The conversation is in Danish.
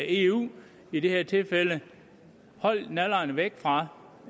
eu i det her tilfælde hold nallerne væk fra